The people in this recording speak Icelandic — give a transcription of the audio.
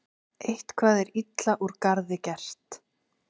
Eitthvað er illa úr garði gert